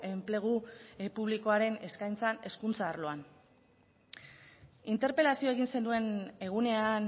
enplegu publikoaren eskaintzak hezkuntza arloan interpelazioa egin zenuen egunean